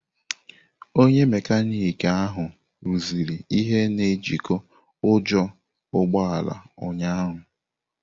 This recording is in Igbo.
Onye mekaniki ahụ rụziri ihe na ejiko ujo ụgbọ ala ụnyahụ.